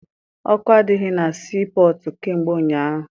Ọkụ adịghị na sii pọtụ kamgbe ụnyaahụ.